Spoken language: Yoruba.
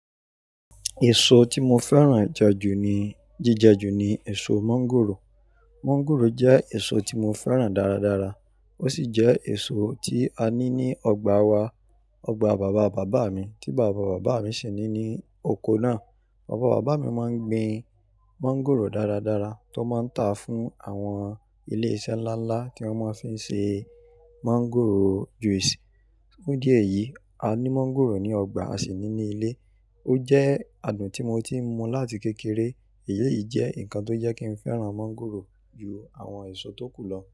Èso tí mo fẹ́ràn jẹjù ni, jíjẹjù ni èso mọ́ńgòrò. Mọ́ńgòrò jẹ́ èso tí mo fẹ́ràn dáradára. Ó sì jẹ́ èso tí a ní ní ọgbà wa. Ọgbà bàbá bàbá mi tí bàbá bàbá mi ṣì ní ní oko náà. Bàbá bàbá mi máa ń gbin mọ́ńgòrò dáradára tó máa ń tà fún àwọn ilé iṣẹ́ ńlá ńlá tí wọ́n máa fí ń ṣe mọ́ńgòrò juice. Fun dí eyìí, a ní mọ́ńgòrò ní ọgbà, a sì ní ní ilé. Ó jẹ́ adùn tí mo ti mu láti kékeré. Èyíi jẹ́ nǹkan tó jẹ́ kí n fẹ́ràn mọ́ńgòrò ju àwọn èso tó kù lọ.